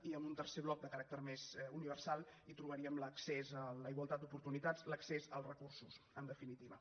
i en un tercer bloc de caràcter més universal hi trobaríem l’accés a la igualtat d’oportunitats l’accés als recursos en definitiva